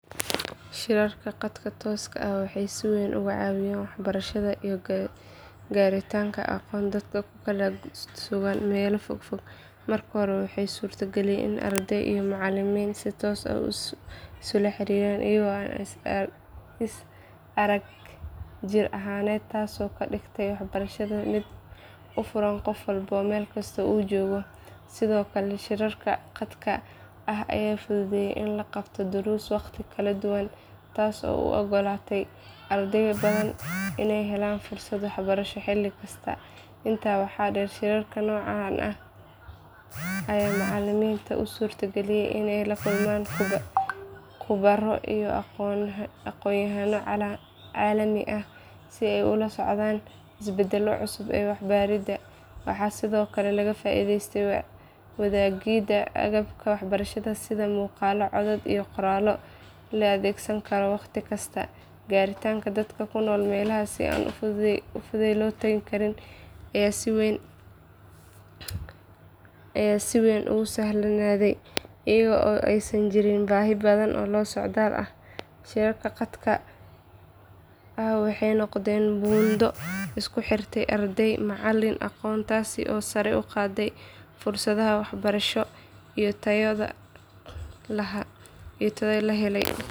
Shirarka khadka tooska ah waxay si weyn uga caawiyeen waxbarashada iyo gaaritaanka aqoon dadka ku kala sugan meelo fogfog. Marka hore waxay suurageliyeen in arday iyo macallimiin si toos ah isula xiriiraan iyagoo aan is arag jir ahaaneed taasoo ka dhigtay waxbarashada mid u furan qof walba meel kasta uu joogo. Sidoo kale shirarka khadka ah ayaa fududeeyay in la qabto duruus waqtiyo kala duwan ah taasoo u oggolaatay arday badan inay helaan fursad waxbarasho xilli kasta. Intaa waxaa dheer shirarka noocan ah ayaa macallimiinta u suurageliyay inay la kulmaan khubaro iyo aqoonyahanno caalami ah si ay ula socdaan isbeddellada cusub ee waxbaridda. Waxaa sidoo kale laga faa’iidaystay wadaagidda agabka waxbarasho sida muuqaallo, codad iyo qoraallo la adeegsan karo waqti kasta. Gaaritaanka dadka ku nool meelaha aan si fudud loo tegi karin ayaa si weyn u sahlanaaday iyada oo aysan jirin baahi badan oo socdaal ah. Shirarka khadka ah waxay noqdeen buundo isku xirta arday, macallin iyo aqoonta taasoo sare u qaadday fursadaha waxbarasho iyo tayada la helayo.